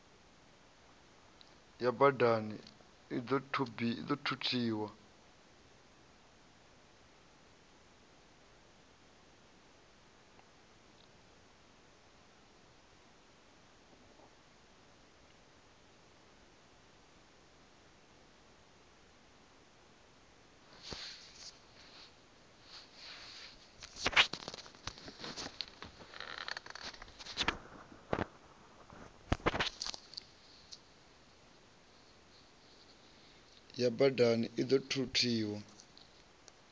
ya badani i ḓo thuthiwa